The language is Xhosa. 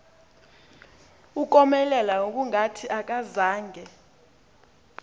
ukomelela ngokungathi akazange